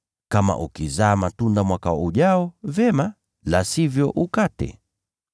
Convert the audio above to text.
Kama ukizaa matunda mwaka ujao, vyema, la sivyo uukate.’ ”